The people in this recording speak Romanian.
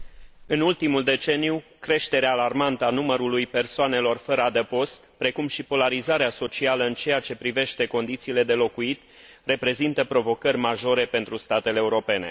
În ultimul deceniu, creșterea alarmantă a numărului persoanelor fără adăpost, precum și polarizarea socială în ceea ce privește condițiile de locuit, reprezintă provocări majore pentru statele europene.